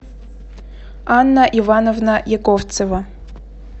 анна ивановна яковцева